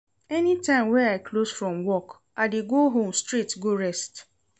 Anytime wey I close from work, I dey go home straight go rest.